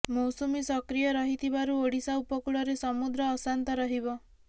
ମୌସୁମୀ ସକ୍ରିୟ ରହିଥିବାରୁ ଓଡ଼ିଶା ଉପକୂଳରେ ସମୁଦ୍ର ଅଶାନ୍ତ ରହିବ